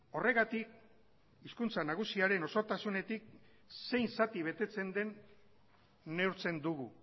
horregatik hizkuntza nagusiaren osotasunetik zein zati betetzen den neurtzen dugu